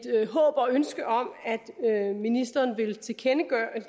håb og ønske om at ministeren vil tilkendegive